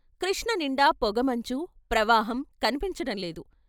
కృష్ణ నిండా పొగమంచు, ప్రవాహం కన్పించటం లేదు.